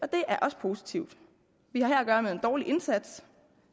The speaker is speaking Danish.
det er også positivt vi har her at gøre med en dårlig indsats